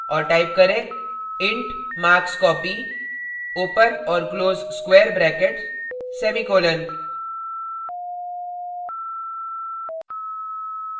और type करें int markscopy ;